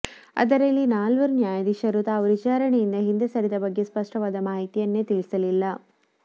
ಅದರಲ್ಲಿ ನಾಲ್ವರು ನ್ಯಾಯಾಧೀಶರು ತಾವು ವಿಚಾರಣೆಯಿಂದ ಹಿಂದೆ ಸರಿದ ಬಗ್ಗೆ ಸ್ಪಷ್ಟವಾದ ಮಾಹಿತಿಯನ್ನೇ ತಿಳಿಸಲಿಲ್ಲ